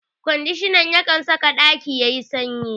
Ƙwandishan na saka ƙaki yayi sanyi